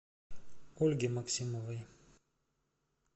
ольге максимовой